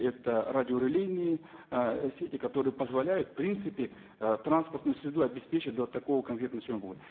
это радиорелейные ы сети которые позволяют в принципе ы транспортную среду обеспечить до такого